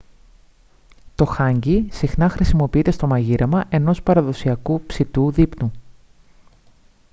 το χάνγκι συχνά χρησιμοποιείται στο μαγείρεμα ενός παραδοσιακού ψητού δείπνου